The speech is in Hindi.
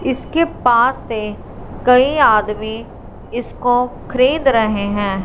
इसके पास से कई आदमी इसको खरीद रहे हैं।